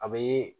A bɛ